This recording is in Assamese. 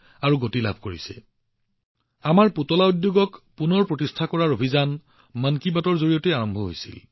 উদাহৰণ স্বৰূপে আমাৰ পুতলা উদ্যোগ পুনৰ প্ৰতিষ্ঠা কৰাৰ অভিযানটো মন কী বাতৰ সৈতে আৰম্ভ হৈছিল